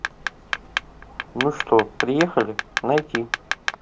ну что приехали найти